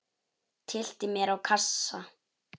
Tyllti mér á kassa.